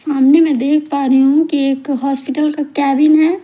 सामने मैं देख पा रही हूँ कि एक हॉस्पिटल का कैबिन है।